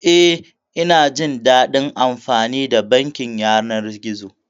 Eh, ina jin daɗin amfani da bankin yanar gizo.